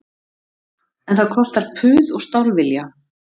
En það kostar puð og stálvilja